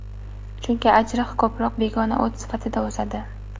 Chunki ajriq ko‘proq begona o‘t sifatida o‘sadi.